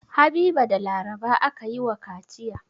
Habiba da Laraba aka yi wa kaciya.